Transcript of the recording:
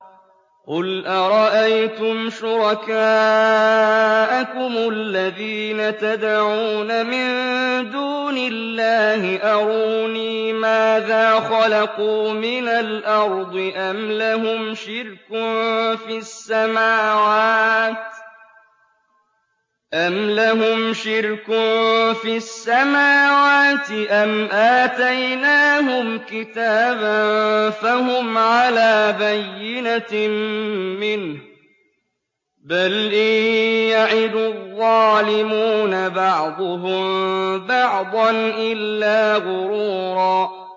قُلْ أَرَأَيْتُمْ شُرَكَاءَكُمُ الَّذِينَ تَدْعُونَ مِن دُونِ اللَّهِ أَرُونِي مَاذَا خَلَقُوا مِنَ الْأَرْضِ أَمْ لَهُمْ شِرْكٌ فِي السَّمَاوَاتِ أَمْ آتَيْنَاهُمْ كِتَابًا فَهُمْ عَلَىٰ بَيِّنَتٍ مِّنْهُ ۚ بَلْ إِن يَعِدُ الظَّالِمُونَ بَعْضُهُم بَعْضًا إِلَّا غُرُورًا